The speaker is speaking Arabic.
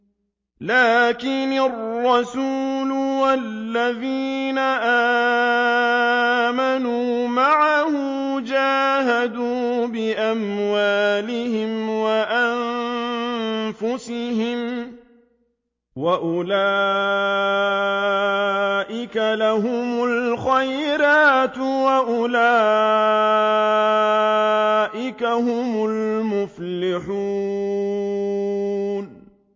لَٰكِنِ الرَّسُولُ وَالَّذِينَ آمَنُوا مَعَهُ جَاهَدُوا بِأَمْوَالِهِمْ وَأَنفُسِهِمْ ۚ وَأُولَٰئِكَ لَهُمُ الْخَيْرَاتُ ۖ وَأُولَٰئِكَ هُمُ الْمُفْلِحُونَ